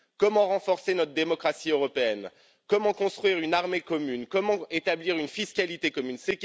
Comment renforcer notre démocratie européenne, comment construire une armée commune, comment établir une fiscalité commune?